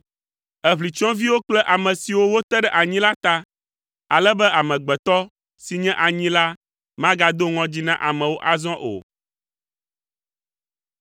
Èʋli tsyɔ̃eviwo kple ame siwo wote ɖe anyi la ta, ale be amegbetɔ si nye anyi la magado ŋɔdzi na amewo azɔ o.